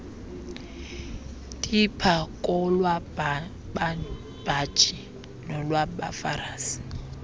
tipha kolwababhaji nolwabafarisi